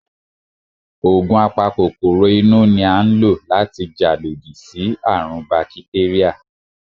Ògùn a pa kòkòrò inú ni à ń lò láti jà lodí sí àrùn ún bakitéríà